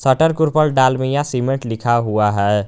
Shutter कुर पर Dalmia cement लिखा हुआ है।